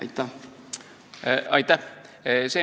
Aitäh!